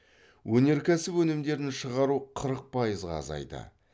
өнеркәсіп өнімдерін шығару қырық пайызға азайды